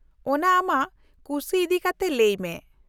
-ᱚᱱᱟ ᱟᱢᱟᱜ ᱠᱩᱥᱤ ᱤᱫᱤᱠᱟᱛᱮ ᱞᱟᱹᱭᱢᱮ ᱾